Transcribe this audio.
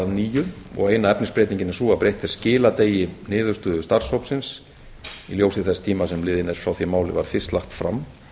nýju og eina efnisbreytingin er sú að breytt er skiladegi niðurstöðu starfshópsins í ljósi þess tíma sem liðinn er frá því að málið var fyrst lagt fram